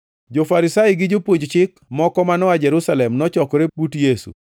Jo-Farisai gi jopuonj Chik moko ma noa Jerusalem nochokore but Yesu